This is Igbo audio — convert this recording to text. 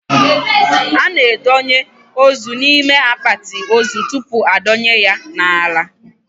A na a donye ozu n'ime akpati ozu tupu a dọnye ya n'ala